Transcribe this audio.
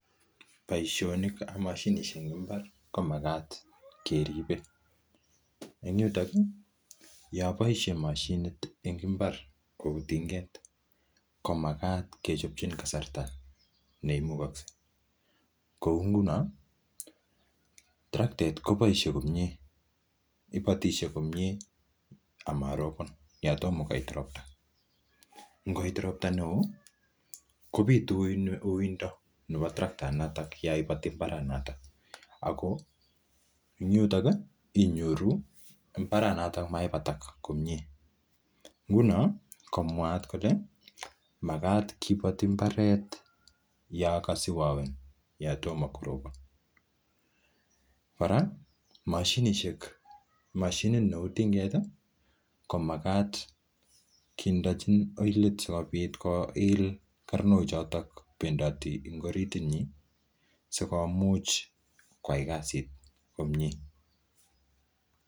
Boisionik ab moshinisiek en mbar ko magat keribe, en yuto yon boisie moshinit en mbar kou tinget komagat kechobchi kasarta neimugokse. Kou nguno terekta koboisie komye ibatisie komye ama robon; yon tomo koit ropta. Ngoit ropta neo kobitu uiyto neo en terekta yon iboti mbaranato ago en yuto inyoru mbraranoto maibatak komye. Nguno komwaat kole magat kiboti mbaret yon kasiwawen yon tomo korobon. Kora mashinit neu tinget ko magat kindechen oilit sikobit koil karnochoto bendoti en orit inyin sikomuch koyai kasit komye.